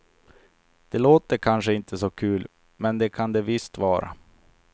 Det låter kanske inte så kul, men det kan det visst vara.